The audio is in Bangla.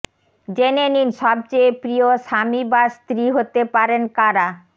জেনে নিন সবচেয়ে প্রিয় স্বামী বা স্ত্রী হতে পারেন কারা